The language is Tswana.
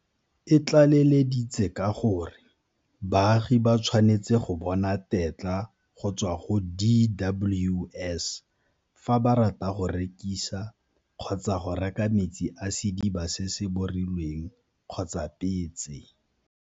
E tlaleleditse ka gore baagi ba tshwanetse go bona tetla go tswa go DWS fa ba rata go rekisa kgotsa go reka metsi a sediba se se borilweng kgotsa petse.